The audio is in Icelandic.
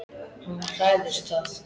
Hann hræðist það.